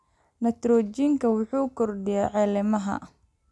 Nitrojiinka wuxuu kordhiyaa caleemaha.